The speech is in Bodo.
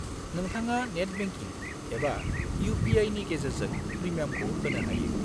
नोंथाङा नेट बेंकिं एबा इउ.पि.आइ.नि गेजेरजों प्रिमियामखौ होनो हायो।